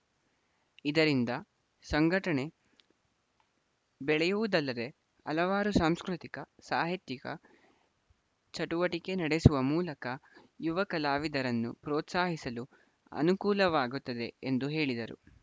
ಇದರಿಂದ ಸಂಘಟನೆ ಬೆಳೆಯುವುದಲ್ಲದೇ ಹಲವಾರು ಸಾಂಸ್ಕೃತಿಕ ಸಾಹಿತ್ಯಿಕ ಚಟುವಟಿಕೆ ನಡೆಸುವ ಮೂಲಕ ಯುವ ಕಲಾವಿದರನ್ನು ಪ್ರೋತ್ಸಾಹಿಸಲು ಅನುಕೂಲವಾಗುತ್ತದೆ ಎಂದು ಹೇಳಿದರು